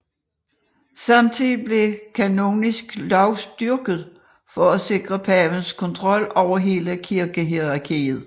Samtidigt blev kanonisk lov styrket for at sikre pavens kontrol over hele kirkehierarkiet